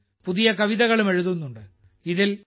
പലരും പുതിയ കവിതകളും എഴുതുന്നുണ്ട്